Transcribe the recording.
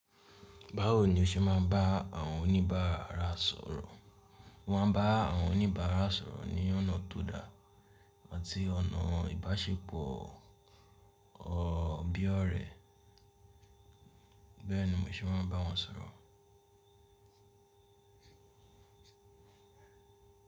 Báwo ni o ṣe máa n bá àwọn oníbàárà sọ̀rọ̀? Mo máa ń bá àwọn oníbàárà sọ̀rọ̀ ní ọ̀nà tó da àti ọ̀nà ìbáṣepọ̀ bí ọ̀rẹ́. Bẹ́ẹ̀ni, mo se máa ń bá wọn sọ̀rọ̀.